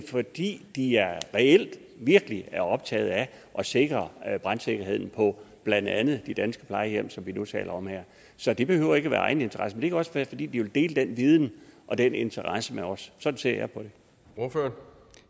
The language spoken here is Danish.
fordi de reelt virkelig er optaget af at sikre brandsikkerheden på blandt andet de danske plejehjem som vi nu taler om her så det behøver ikke være egeninteresse det kan også være fordi de vil dele den viden og den interesse med os sådan ser